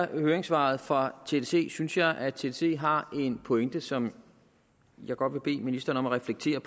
høringssvaret fra tdc synes jeg at tdc har en pointe som jeg godt vil bede ministeren om at reflektere